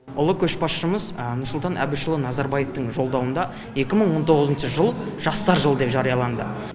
ұлы көшбасшымыз нұрсұлтан әбішұлы назарбаевтың жолдауында екі мың он тоғызыншы жыл жастар жылы деп жариялады